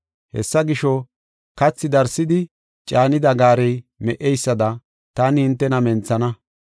“Hessa gisho, kathi darsidi caanida gaarey me77eysada taani hintena menthana.